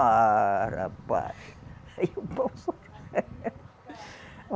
Ah, rapaz, aí o pau